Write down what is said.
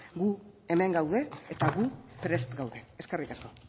gu hemen gaude eta gu prest gaude eskerrik asko